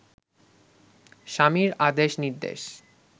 স্বামীর আদেশ নির্দেশ